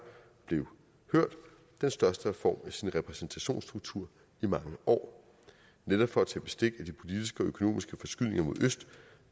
blev hørt den største reform af sin repræsentationsstruktur i mange år netop for at tage bestik af de politiske og økonomiske forskydninger mod øst